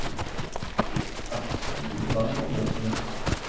Ele, ah, está indo lá no almoço, né?